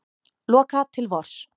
Loka til vors